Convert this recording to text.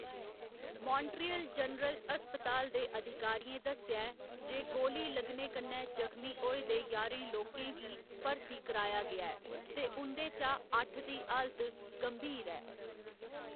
Montreal general अस्पताल दे अधिकारियें दस्सेआ ऐ जे गोली लग्गने कन्नै जखमी होए दे ञारें लोकें गी भर्ती कराया गेआ ऐ ते उं'दे चा अट्ठ दी हालत गंभीर ऐ।